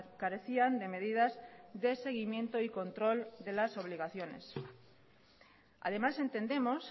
carecían de medidas de seguimiento y control de las obligaciones además entendemos